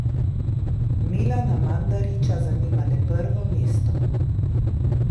Milana Mandarića zanima le prvo mesto.